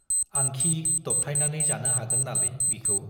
आंखि दबथायनानै जानो हागोन नालै बिखौ!